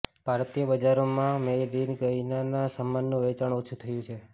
ભારતીય બજારોમાં made in ચાઈનાના સામાનનું વેચાણ ઓછુ થયું છે